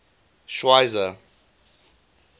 schweizer